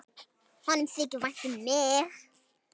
Honum þykir vænt um mig.